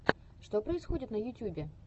что происходит на ютюбе